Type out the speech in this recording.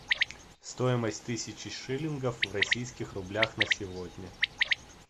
стоимость тысячи шиллингов в российских рублях на сегодня